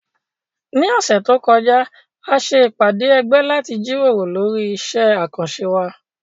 Ní ọ̀sẹ̀ tó kọjá, a ṣe ìpàdé ẹgbẹ́ láti jíròrò lórí iṣẹ́ àkànṣe wa